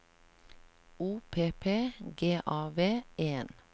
O P P G A V E N